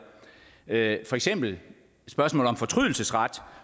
det for eksempel spørgsmålet om fortrydelsesret